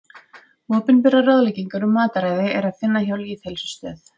Opinberar ráðleggingar um mataræði er að finna hjá Lýðheilsustöð.